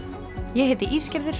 ég heiti